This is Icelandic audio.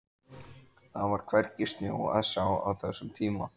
Það var hvergi snjó að sjá á þessum tíma.